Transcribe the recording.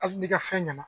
Hali ni ka fɛn ɲɛna